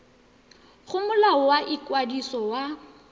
go molao wa ikwadiso wa